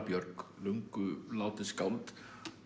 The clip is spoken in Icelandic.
Björg löngu látið skáld